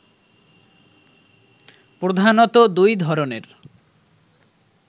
প্রধানত দুই ধরনের